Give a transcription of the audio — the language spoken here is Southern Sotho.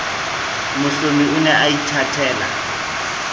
mohlomi o ne a ithatela